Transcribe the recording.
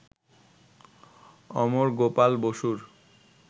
অমর গোপাল বসুর